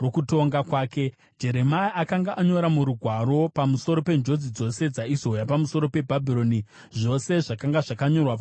Jeremia akanga anyora murugwaro pamusoro penjodzi dzose dzaizouya pamusoro peBhabhironi, zvose zvakanga zvakanyorwa pamusoro peBhabhironi.